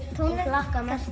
hlakka mest